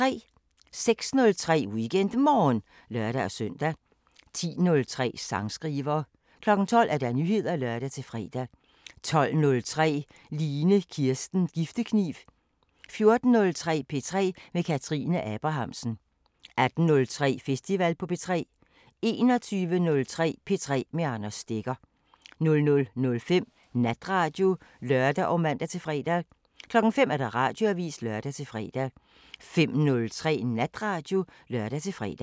06:03: WeekendMorgen (lør-søn) 10:03: Sangskriver 12:00: Nyheder (lør-fre) 12:03: Line Kirsten Giftekniv 14:03: P3 med Kathrine Abrahamsen 18:03: Festival på P3 21:03: P3 med Anders Stegger 00:05: Natradio (lør og man-fre) 05:00: Radioavisen (lør-fre) 05:03: Natradio (lør-fre)